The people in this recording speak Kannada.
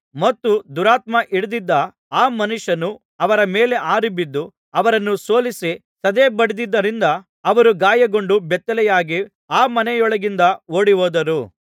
ಮತ್ತು ದುರಾತ್ಮ ಹಿಡಿದಿದ್ದ ಆ ಮನುಷ್ಯನು ಅವರ ಮೇಲೆ ಹಾರಿ ಬಿದ್ದು ಅವರನ್ನೂ ಸೋಲಿಸಿ ಸದೆಬಡಿದಿದ್ದರಿಂದ ಅವರು ಗಾಯಗೊಂಡು ಬೆತ್ತಲೆಯಾಗಿ ಆ ಮನೆಯೊಳಗಿಂದ ಓಡಿಹೋದರು